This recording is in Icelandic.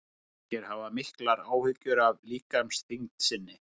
margir hafa miklar áhyggjur af líkamsþyngd sinni